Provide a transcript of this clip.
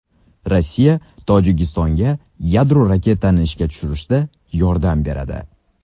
Rossiya Tojikistonga yadro reaktorini ishga tushirishda yordam beradi.